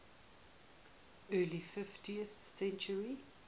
early fifteenth century